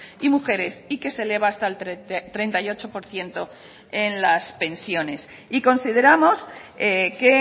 y mujeres y que se eleva hasta el treinta y ocho por ciento en las pensiones y consideramos que